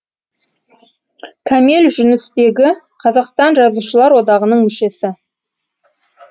кәмел жүністегі қазақстан жазушылар одағының мүшесі